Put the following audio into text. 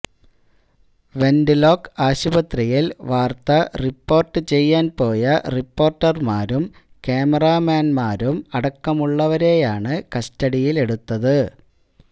went ലോക്ക് ആശുപത്രിയിൽ വാർത്ത റിപ്പോർട്ട് ചെയ്യാൻ പോയ റിപ്പോർട്ടർമാരും കാമറാമാന്മാരും അടക്കമുള്ളവരെയാണ് കസ്റ്റഡിയിലെടുത്തത്